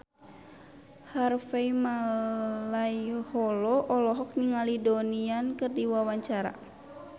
Harvey Malaiholo olohok ningali Donnie Yan keur diwawancara